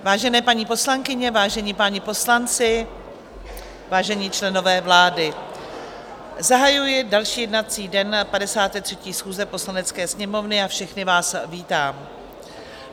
Vážené paní poslankyně, vážení páni poslanci, vážení členové vlády, zahajuji další jednací den 53. schůze Poslanecké sněmovny a všechny vás vítám.